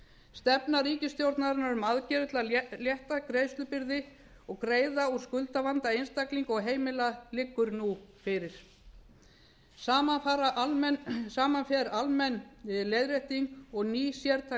stefna ríkisstjórnarinnar um aðgerðir til að létta greiðslubyrði og greiða úr skuldavanda einstaklinga og heimila liggur nú fyrir saman fara almenn leiðrétting og ný sértæk